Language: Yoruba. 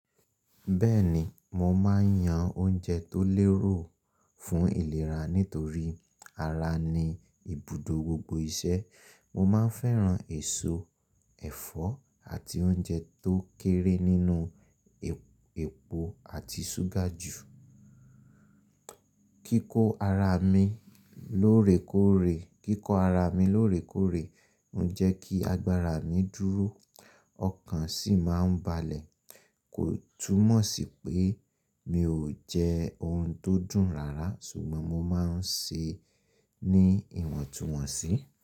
Bẹ́ẹ̀ni, mo máà ń yan oúnjẹ tó lérò fún ìlera nítorí ara ni ibùdó gbogbo iṣẹ́. Mo máa ń fẹ́ran èso, ẹ̀fọ́ àti oúnjẹ tó kéré nínú epo àti ṣúgà jù. Kíkọ ara mi lóòrèkóòrè o ń jẹ́ kí agbára mi dúró ọkàn sì máa ń balẹ̀. Kò túmọ̀ sí pé mi ò jẹ oun tó dùn rárá sùgbọ́n mo máa ń se ní ìwọ̀ntúnwọ̀nsí.